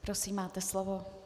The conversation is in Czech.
Prosím, máte slovo.